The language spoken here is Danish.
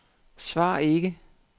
svar ikke